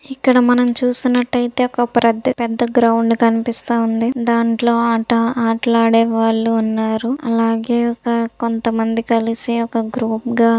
ఇక్కడ మనం చూసినట్టయితే ఒక పెద్ద గ్రౌండ్ కనిపిస్తుంది దాంట్లో మాట్లాడే వాళ్లు ఉన్నారు అలాగే కొంతమంది కలిసి ఒక గ్రూప్ గా--